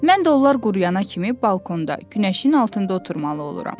Mən də onlar quruyana kimi balkonda günəşin altında oturmalı oluram.